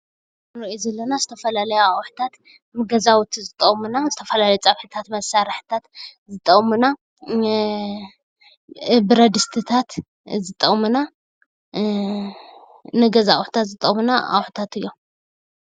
እዚ አንርእዮም ዘለና ዝተፈላለዩ ኣቁሑታት ንገዛዉቲ ዝጠቅሙና ዝተፈላለዩ ፀብሕታት መስርሒታት ዝጠቅሙና፣ ብረድስትታት ዝጠቅሙና ንገዛ ኣቁሑታት ዝጠቅሙና ኣቁሕታት እዮም::